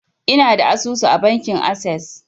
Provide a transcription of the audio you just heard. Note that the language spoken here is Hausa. Ina da asusu a bankin assas